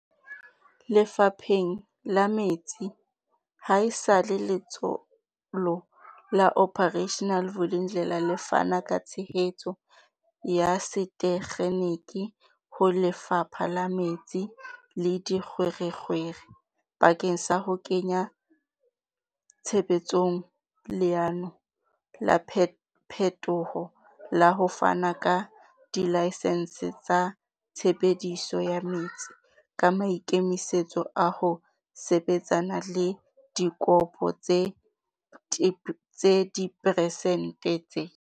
Lefapheng la metsi, haesale Letsholo la Operation Vulindlela le fana ka tshehetso ya setekgeniki ho Lefapha la Metsi le Dikgwerekgwere bakeng sa ho kenya tshebetsong leano la phetoho la ho fana ka dilaesense tsa tshebediso ya metsi, ka maikemisetso a ho sebetsana le dikopo tse diperesente tse